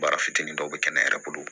Baara fitinin dɔw bɛ kɛ ne yɛrɛ bolo